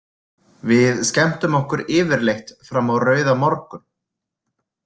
Við skemmtum okkur yfirleitt fram á rauðamorgun.